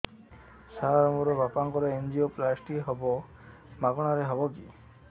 ସାର ମୋର ବାପାଙ୍କର ଏନଜିଓପ୍ଳାସଟି ହେବ ମାଗଣା ରେ ହେବ କି